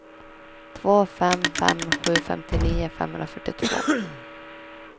två fem fem sju femtionio femhundrafyrtiotvå